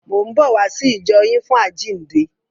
Mò ń bọ̀ wá sí ìjọ yín fún àjíǹde.